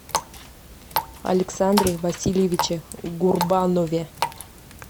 александре васильевиче гурбанове